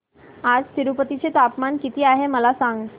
आज तिरूपती चे तापमान किती आहे मला सांगा